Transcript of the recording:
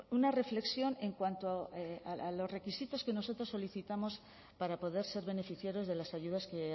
una reflexión en cuanto a los requisitos que nosotros solicitamos para poder ser beneficiarios de las ayudas que